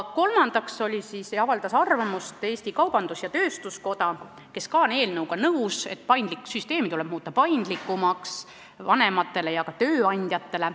Kolmandaks avaldas arvamust Eesti Kaubandus-Tööstuskoda, kes on nõus, et süsteem tuleb muuta paindlikumaks vanematele ja ka tööandjatele.